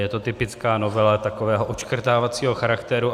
Je to typická novela takového odškrtávacího charakteru.